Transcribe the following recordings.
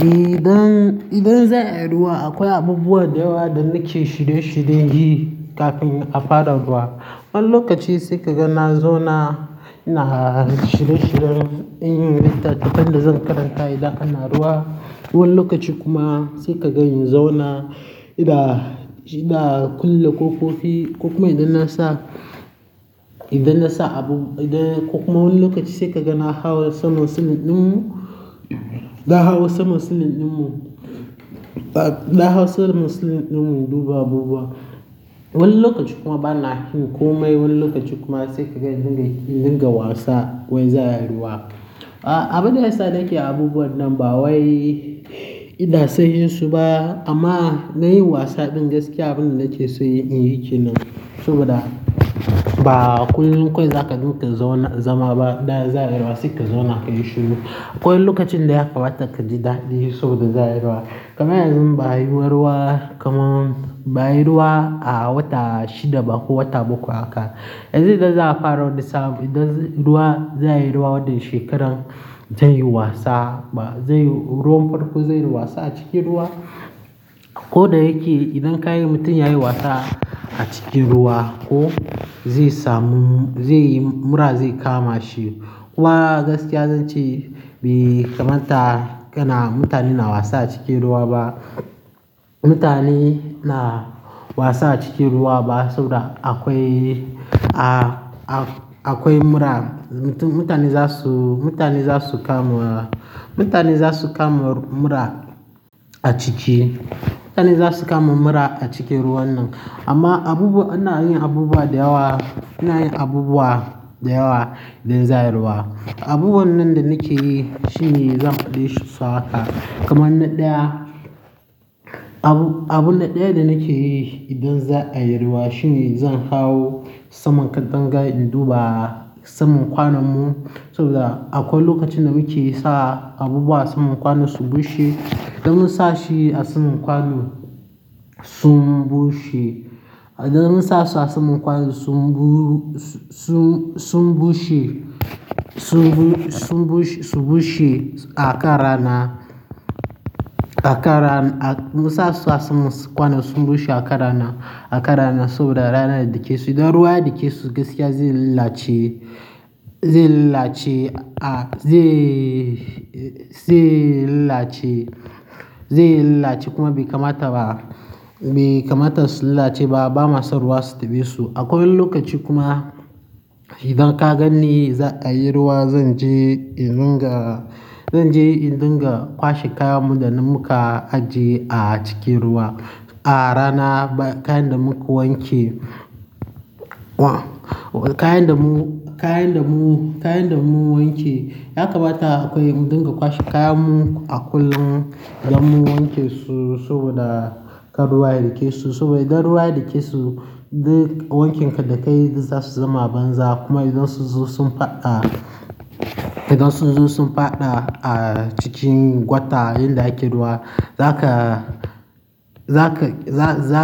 Eh, idan, idan za a yi ruwa akwai abubuwa da yawa da nake shirye shiryen yi kafin a fara ruwa. Wani lokaci sai ka ga na zauna ina shirye-shiryen yin littattafan da zan karanta idan ana ruwa. Wani lokaci kuma sai ka ga in zauna idan, idan a kulle ƙoƙofi. Kuma idan na sa, idan na sa abu, idan kuma wani lokaci sai ka ga na hau sama silin ɗin mu, da hau sama silin ɗin mu, da hau sama silin ɗin mu duba abubuwa. Wani lokaci kuma bana yin komai. Wani lokaci kuma sai ka ga in dinga wasa wai za a yi ruwa. Ah, abinda yasa nake abubuwan nan ba wai ina son yin su ba amma na yi wasa bin gaskiya abin da nake so yin yake nan saboda ba akwai, akwai zaka dinga zauna zama ba idan za a yi ruwa sai ka zauna ka yi shiru. Akwai lokacin da ya gabata ka ji daɗi saboda za a yi ruwa. Kaman yanzun ba a yi wa ruwa, kamar ba a yi ruwa a wata shida ba ko wata bakwai haka. Yanzu idan za a fara wani saf, idan ruwa, za a yi ruwa wannan shekarar zan yi wasa. Ba, zai yi, ruwan farko zai yi wasa a cikin ruwa. Ko da yake idan ka yi mutum ya yi wasa a cikin ruwa ko zai samu, zai yi mura zai kama shi. Kuma gaskiya zan ce bai kamata kana mutane na wasa a cikin ruwa ba. Mutane na wasa a cikin ruwa ba saboda akwai, ah, akwai mura. Mutane za su, mutane za su kama mura. Mutane za su kama mura a ciki. Mutane za su kama mura a cikin ruwan nan. Amma abubu, ana yin abubuwa da yawa, ana yin abubuwa da yawa idan za a yi ruwa. Abubuwan nan da nake yi shine zan faɗi shi maka. Kaman na ɗaya, abu, abun na ɗaya da nake yi idan za a yi ruwa shine zan hau saman katangari in duba saman kwanon mu saboda akwai lokacin da muke sa abubuwa a saman kwano su bushe. Idan mun sa shi a saman kwano sun bushe, idan mun sa su a saman kwano sun bu-- sun, sun bushe, sun bu-- sun bushe, su bushe a kan rana. Mun sa su a saman kwano sun bushe a kan rana, a kan rana saboda rana idan take su, idan ruwa ya dake su gaskiya zai illace, zai illace, ah, zai, zai illace, zai illace kuma bai kamata ba. Bai kamata su illace ba. Ba ma son ruwa su taɓe su. Akwai wani lokaci kuma idan ka ganni za a yi ruwa zan je in dinga, zan je in dinga kwashe kayan mu da muka ajiye a cikin ruwa. A rana bayan kayan da muka wanke. Wah! Kayen da mu, kayan da mu, kayan da mu wanke ya kamata akwai mu dinga kwashe kayan mu a kullum idan mun wanke su saboda kar ruwa ya dake su. Saboda idan ruwa ya dake su duk wankin ka da kayi za su zama a banza. Kuma idan su zo sun faɗa, idan sun zo sun faɗa a cikin jwata inda ake ruwa za ka, za ka, za, za,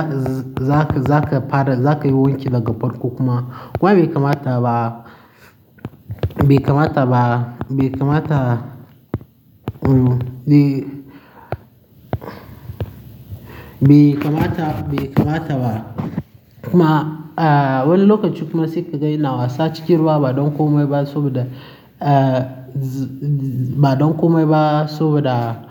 za ka, za ka fara, za ka yi wanki daga farko kuma. Kuma bai kamata ba, bai kamata ba, bai kamata, mm, bai-- bai kamata, bai kamata ba. Kuma, ah, wani lokaci kuma sai ka ga ina wasa cikin ruwa ba don komai ba saboda, ah, ba don komai ba saboda.